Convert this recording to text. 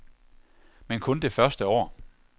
Men kun det første år.